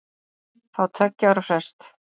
Fá tveggja ára frest